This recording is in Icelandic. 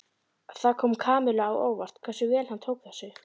Það kom Kamillu á óvart hversu vel hann tók þessu.